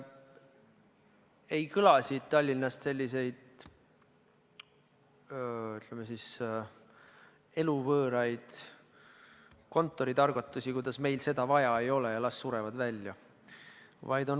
Ei kõla siit Tallinnast selliseid, ütleme, eluvõõraid kontoritargutusi, et meil ei ole seda vaja ja las surevad välja.